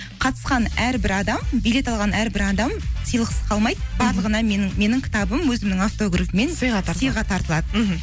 қатысқан әрбір адам билет алған әрбір адам сыйлықсыз қалмайды барлығына менің кітабым өзімнің автографымен сыйға тартылады мхм